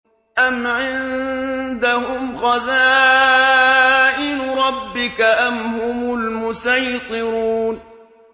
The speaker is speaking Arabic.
أَمْ عِندَهُمْ خَزَائِنُ رَبِّكَ أَمْ هُمُ الْمُصَيْطِرُونَ